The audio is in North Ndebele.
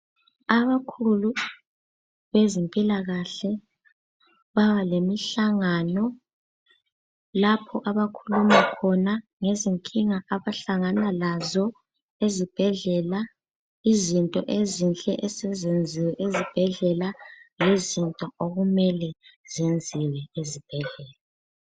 Abakhulu bezempilakahle baba lemihlangano lapho abakhuluma khona ngezinkinga abahlangana lazo ezibhedlela, izinto ezinhle esezenziwe ezibhedlela lezinto okumele zenziwe ezibhedlela.